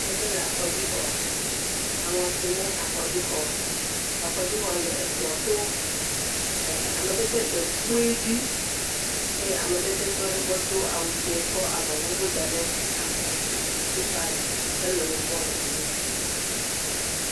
Ame ɖe le afɔdzixɔ. Aŋɔ si ne afɔdzixɔ. Afɔdzixɔ le egbɔto. ɛɛ Ame ɖe tsɛ dee kpoe dzi aƒe ame ɖe tsɛ tɔ ɖe egbɔ do awu dzẽ kɔ avɔvuvu da ɖe abɔ. Huilbad tsɛ le wogbɔ le fi mi.